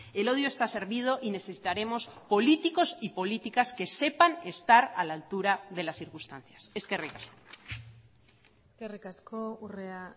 el odio está servido y necesitaremos políticos y políticas que sepan estar a la altura de las circunstancias eskerrik asko eskerrik asko urrea